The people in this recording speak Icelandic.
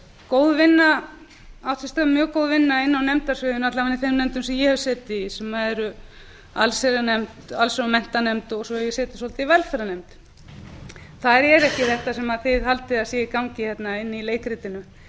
góð vinna inni á nefndasviðinu alla vega í þeim nefndum sem ég hef setið í sem eru allsherjar og menntamálanefnd og svo hef ég setið svolítið í velferðarnefnd þar er ekki þetta sem þið haldið að sé í gangi hérna inni í leikritinu